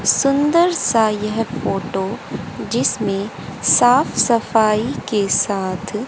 सुंदर सा यह फोटो जिसमें साफ सफाई के साथ--